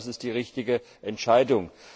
Das ist die richtige Entscheidung.